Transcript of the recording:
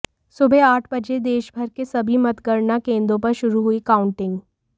सुबह आठ बजे देशभर के सभी मतगणना केंद्रों पर शुरू हुई काउंटिंग